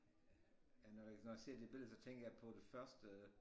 Ja når jeg når jeg ser det billede så tænker jeg på det første